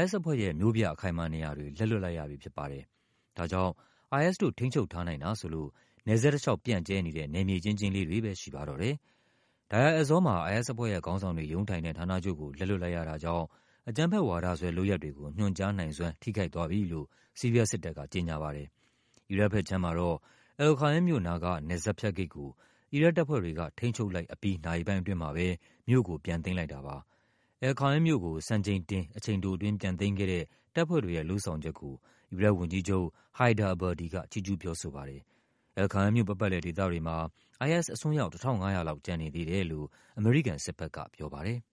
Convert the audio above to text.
IS အဖွဲ့ရဲ့ မြို့ပြ အခိုင်အမာနေရာတွေ လက်လွှတ်လိုက်ရပြီဖြစ်ပါတယ်။ ဒါကြောင့် IS တို့ ထိန်းချုပ်ထားနိုင်တာဆိုလို့ နယ်စပ်တလျှောက် ပြန့်ကျဲ နေတဲ့ နယ်မြေကျဉ်းကျဉ်းလေးတွေပဲ ရှိပါတော့တယ်။ Deir Ezzor မှာ IS အဖွဲ့ရဲ့ခေါင်းဆောင်တွေ ရုံးထိုင်တဲ့ ဌာနချုပ်ကို လက်လွှတ်လိုက်ရတာကြောင့် အကြမ်းဖက်ဝါဒစွဲ လုပ်ရပ် တွေကို ညွှန်ကြားနိုင်စွမ်း ထိခိုက်သွားပြီလို့ ဆီးရီးယားစစ်တပ်က ကြေညာပါတယ်။ အီရတ်ဘက်ခြမ်းမှာတော့ Al-Qaim မြို့နားက နယ်စပ်ဖြတ်ဂိတ်ကို အီရတ်တပ်ဖွဲ့တွေက ထိန်းချုပ်လိုက်အပြီး နာရီပိုင်းအတွင်း မှာပဲ မြို့ကို ပြန်သိမ်းလိုက်တာပါ။ Al-Qaim မြို့ကို စံချိန်တင် အချိန်တိုအတွင်း ပြန်သိမ်းခဲ့တဲ့ တပ်ဖွဲ့တွေရဲ့လုပ်ဆောင်ချက်ကို အီရတ်ဝန်ကြီးချုပ် Haider Abadi က ချီးကျူးပြောဆိုပါတယ်။ Al-Qaim မြို့ ပတ်ပတ်လည် ဒေသတွေမှာ IS အစွန်းရောက် ၁၅၀၀ လောက် ကျန်နေသေးတယ်လို့ အမေရိကန်စစ်ဘက်က ပြောပါတယ်။